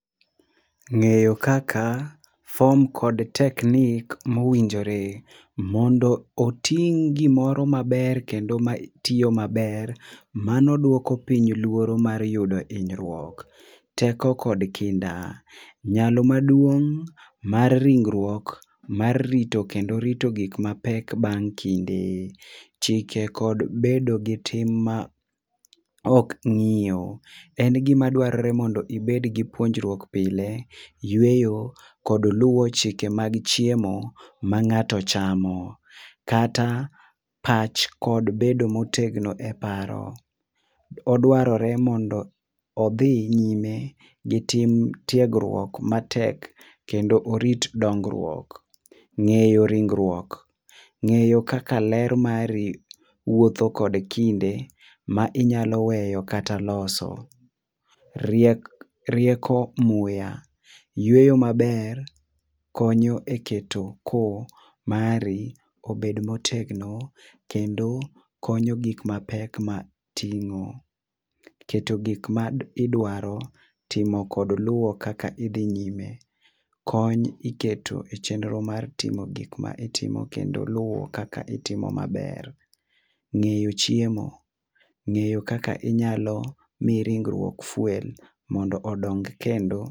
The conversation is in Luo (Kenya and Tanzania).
Ng'eyo kaka form kod technique mowinjore. Mondo oting' gimoro maber kendo matiyo maber mano duoko piny luoro mar yudo hinyruok. Teko kod kinda. Nyalo maduong' mar ringruok mar rito kendo rito gik mapek bang' kinde. Chike kod bedo gi tim maok ng'iyo. En gima dwarore mondo ibed gi puonjruok pile, yueyo kod lue´wo chike mag chiemo ma ng'ato chamo kata pach kod bedo motegno e paro. Odwarore mondo odhi nyime gi tim tiegruok matek kendo orit dongruok. Ng'eyo ringruok. Ng'eyo kaka ler mari wuotho kod kinde ma inyalo weyo kata loso. Riek rieko muya. Yuey maber konyo eketo koo mari obed motegno kendo konyo gik mapek mating'o. Keto gik ma idwaro. Timo kod luwo kaka idhi nyime. Kony iketo e chenro mar timo gik ma itimo kendo luwo kaka itimo maber. Ng'eyo chiemo. Ng'eyo kaka inyalo mi ringruok fuel mondo odong kendo.